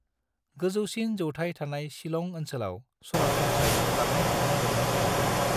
गोजौसिन जौथाइ थानाय शिलं ओनसोलाव सरासनस्रायै बाङाइ बिदुं मोननो हायो।